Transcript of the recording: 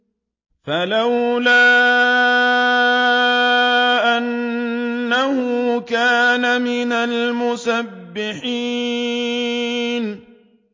فَلَوْلَا أَنَّهُ كَانَ مِنَ الْمُسَبِّحِينَ